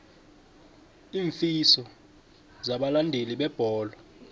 iinfiso zabalandeli bebholo